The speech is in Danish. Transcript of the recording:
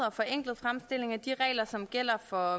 og forenklet fremstilling af de regler som gælder for